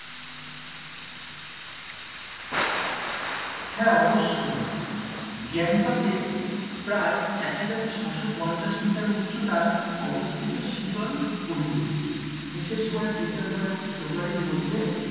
হ্যাঁ অবশ্যই গ্যাংটক এ প্রায় এক হাজার ছশো পঞ্চাশ meter উচ্চতায় অবস্থিত শীতল পরিবেশ বিশেষ করে december এবং february ইর মধ্যে,